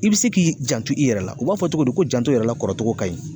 I bɛ se k'i janto i yɛrɛ la, u b'a fɔ cogo di, ko janto yɛrɛ la kɔrɔcogo kaɲi.